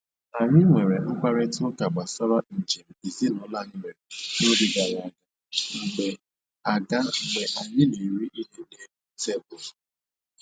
Anyị nwere mkparịta ụka gbasara njem ezinụlọ anyị mere n'oge gara aga mgbe aga mgbe anyị na-eri ihe n'elu tebụlụ